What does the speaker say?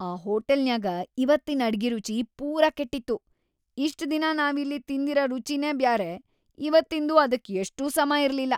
ಆ ಹೋಟಲ್‌ನ್ಯಾಗ ಇವತ್ತಿನ್‌ ಅಡ್ಗಿ ರುಚಿ‌ ಪೂರಾ ಕೆಟ್ಟಿತ್ತು. ಇಷ್ಟ್‌ ದಿನಾ ನಾವಿಲ್ಲಿ ತಿಂದಿರ ರುಚಿನೇ ಬ್ಯಾರೆ ಇವತ್ತಿಂದು ಅದಕ್‌ ಎಷ್ಟೂ ಸಮಾ ಇರ್ಲಿಲ್ಲಾ.